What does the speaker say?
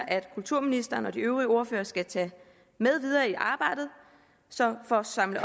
kulturministeren og de øvrige ordførere skal tage med videre i arbejdet så for at samle